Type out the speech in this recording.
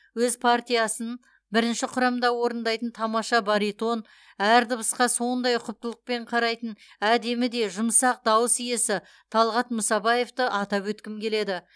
өз партиясын бірінші құрамда орындайтын тамаша баритон әр дыбысқа сондай ұқыптылықпен қарайтын әдемі де жұмсақ дауыс иесі талғат мұсабаевты атап өткім келеді